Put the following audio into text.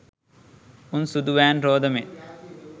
උං සුදු වෑන් රෝද මෙන්